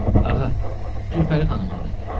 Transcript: Ağa, Gülpəri xanımındır.